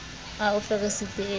a o fe resiti e